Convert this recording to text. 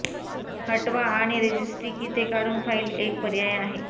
हटवा आणि रेजिस्ट्री की ते काढून फाइल एक पर्याय आहे